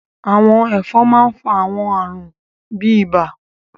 àwọn ẹfọn mà n fa àwọn àarun bi ibà